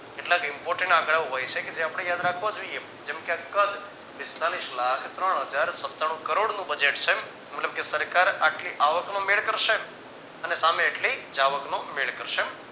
કેટલાક important આંકડાઓ હોય છે કે જે આપણે યાદ રાખવા જોઈએ જેમ કે આ કદ પિસ્તાલીસ લાખ ત્રણ હજાર સતાણુ કરોડનું budget છે. મતલબ કે સરકાર આટલી આવક નો મેળ કરશે અને સામે એટલી જાવકનો મેળ કરશે